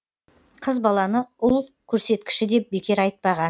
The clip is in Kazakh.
қыз баланы ұл көрсеткіші деп бекер айтпаған